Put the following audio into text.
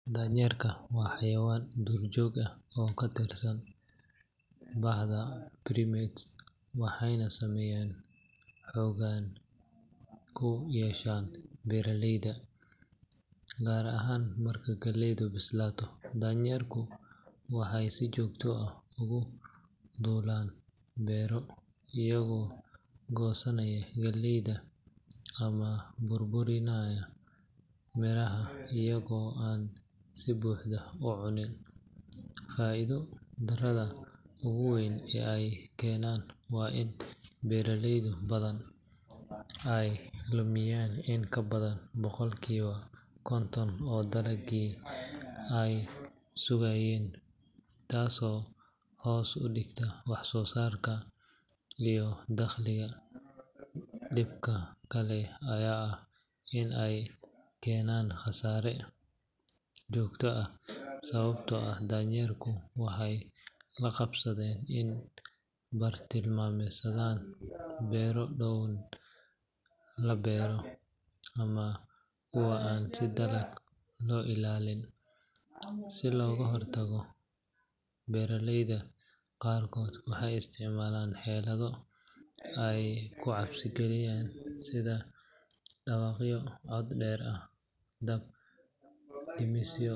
Daanyeerka waa xayawaan duurjoog ah oo ka mid ah bahda primates, waxayna saameyn xooggan ku yeeshaan beeraleyda, gaar ahaan marka galleydu bislaato. Daanyeerku waxay si joogto ah ugu duulaan beero, iyagoo goosanaya galleyda ama burburinaya miraha iyagoo aan si buuxda u cunin. Faa’iido darrada ugu weyn ee ay keenaan waa in beeraley badan ay lumiyaan in ka badan boqolkiiba konton oo dalaggii ay sugayeen, taasoo hoos u dhigta wax-soo-saarka iyo dakhliga. Dhibka kale ayaa ah in ay keenaan khasaare joogto ah, sababtoo ah daanyeerku waxay la qabsadeen inay bartilmaameedsadaan beero dhowaan la beero ama kuwa aan si adag loo ilaalin. Si looga hortago, beeraleyda qaarkood waxay isticmaalaan xeelado ay ku cabsi geliyaan sida dhawaqyo cod dheer ah, dab damisyo.